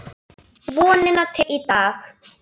Vonina til í dag.